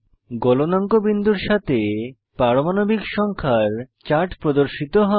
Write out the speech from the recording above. গলনাঙ্ক বিন্দুর সাথে পারমাণবিক সংখ্যা এর চার্ট প্রদর্শিত হয়